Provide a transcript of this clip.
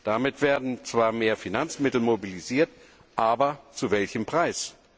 Damit werden zwar mehr Finanzmittel mobilisiert, aber zu welchem Preis?